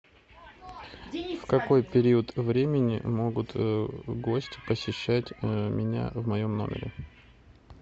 в какой период времени могут гости посещать меня в моем номере